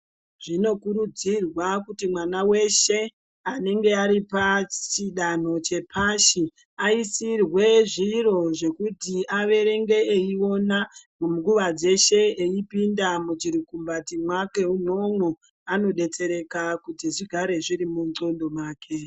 Zvinokurudzirwa kuti mwana veshe anenge ari pachidanho chepashi. Aisirwe zviro zvekuti averenge eiona munguva dzeshe eipinda muchirukumbati mwake imwomwo. Anobetsereka kuti zvigare zviri mundxondo mwake.